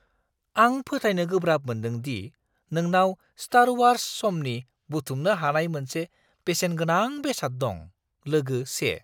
आं फोथायनो गोब्राब मोन्दों दि नोंनाव स्टार वार्स समनि बुथुमनो हानाय मोनसे बेसेनगोनां बेसाद दं! (लोगो 1)